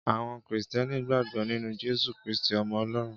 Àwọn Krìstẹ́nì gbàgbọ́ nínú Jesu Kristí, ọmọ Ọlọ́run.